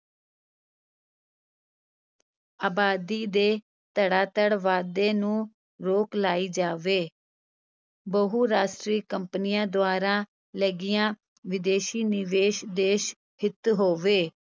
ਅਬਾਦੀ ਦੇ ਧੜਾਧੜ ਵਾਧੇ ਨੂੰ ਰੋਕ ਲਾਈ ਜਾਵੇ ਬਹੁ-ਰਾਸ਼ਟਰੀ ਕੰਪਨੀਆਂ ਦੁਆਰਾ ਲੱਗਿਆ ਵਿਦੇਸ਼ੀ ਨਿਵੇਸ਼ ਦੇਸ-ਹਿਤ ਹੋਵੇ।